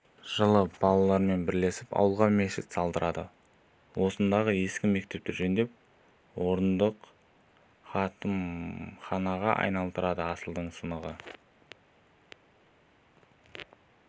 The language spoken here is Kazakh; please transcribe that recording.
жылы балаларымен бірлесіп ауылға мешіт салдырады осындағы ескі мектепті жөндеп орындық қатымханаға айналдырады асылдың сынығы